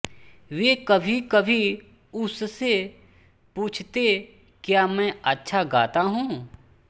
वे कभी कभी उस से पूछते क्या मैं अच्छा गाता हूँ